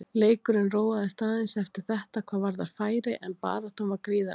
Leikurinn róaðist aðeins eftir þetta hvað varðar færi en baráttan var gríðarleg.